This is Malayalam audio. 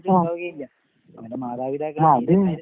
ആഹ്. ആഹ് അത്.